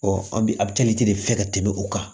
an bi de fɛ ka tɛmɛ o kan